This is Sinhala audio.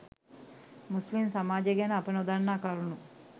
මුස්ලිම් සමාජය ගැන අප නොදන්නා කරුණු